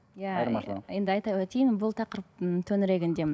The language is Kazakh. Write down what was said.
иә айырмашылығын енді айта өтейін бұл тақырыптың төңірегінде